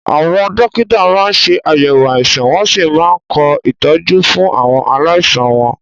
Àwọn dókítà máa ń ṣe àyẹ̀wò àìsàn wọ́n sì máa ń kọ ìtọ́jú fún àwọn aláìsàn wọn.